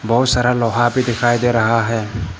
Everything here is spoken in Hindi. बहुत सारा लोहा भी दिखाई दे रहा है।